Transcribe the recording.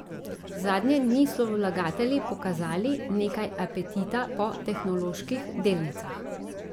Zadnje dni so vlagatelji pokazali nekaj apetita po tehnoloških delnicah.